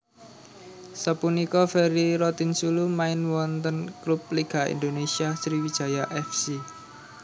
Sapunika Ferry Rotinsulu main wonten klub Liga Indonésia Sriwijaya F C